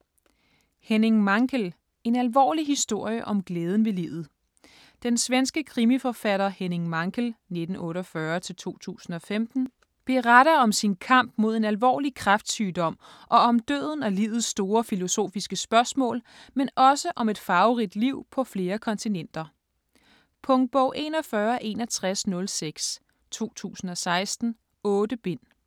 Mankell, Henning: En alvorlig historie om glæden ved livet Den svenske krimiforfatter Henning Mankell (1948-2015) beretter om sin kamp mod en alvorlig kræftsygdom og om døden og livets store filosofiske spørgsmål, men også om et farverigt liv på flere kontinenter. Punktbog 416106 2016. 8 bind.